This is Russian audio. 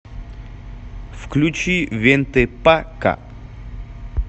включи вентэ па ка